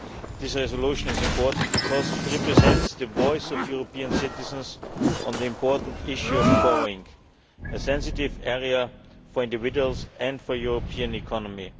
This resolution is important because it represents the voice of European citizens on the important issue of borrowing, which is a sensitive area for individuals and for the European economy.